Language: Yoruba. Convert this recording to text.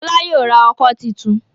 Fola yóò rà ọkọ́ títún.